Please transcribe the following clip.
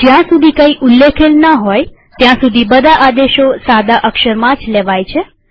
જ્યાં સુધી કઈ ઉલ્લેખેલ ન હોય ત્યાં સુધી બધા આદેશો સાદા અક્ષરમાં જ લેવાય છે